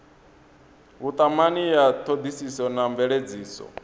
vhutumani ya thodisiso na mveledziso